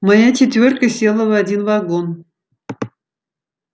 моя четвёрка села в один вагон